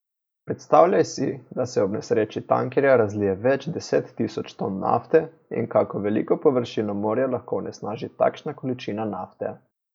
Predstavljaj si, da se ob nesreči tankerja razlije več deset tisoč ton nafte in kako veliko površino morja lahko onesnaži takšna količina nafte.